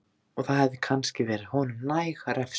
Og það hefði kannski verið honum næg refsing.